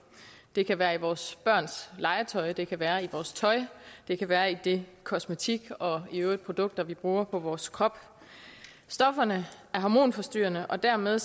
det kan være i vores børns legetøj det kan være i vores tøj det kan være i den kosmetik og de øvrige produkter vi bruger på vores krop stofferne er hormonforstyrrende og derved